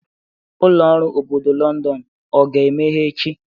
Ụlọ ọrụ obodo Londonu ọ ga-emeghe echi?